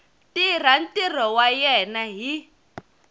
tirha ntirho wa yena hi